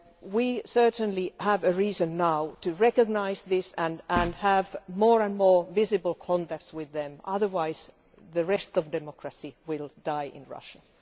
We certainly have a reason now to recognise this and have more and more visible contacts with them, otherwise the rest of democracy will die in Russia.